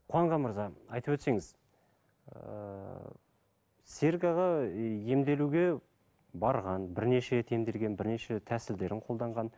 қуанған мырза айтып өтсеңіз ыыы серік аға емделуге барған бірнеше рет емделген бірнеше тәсілдерін қолданған